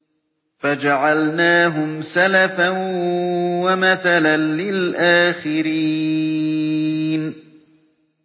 فَجَعَلْنَاهُمْ سَلَفًا وَمَثَلًا لِّلْآخِرِينَ